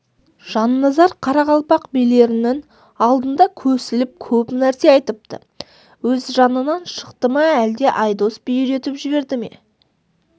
жанназар қарақалпақ билерінің алдында көсіліп көп нәрсе айтыпты өз жанынан шықты ма әлде айдос би үйретіп жіберді ме